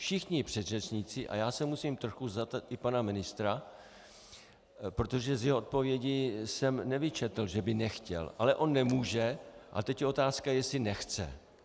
Všichni předřečníci, a já se musím trochu zastat i pana ministra, protože z jeho odpovědi jsem nevyčetl, že by nechtěl, ale on nemůže, a teď je otázka, jestli nechce.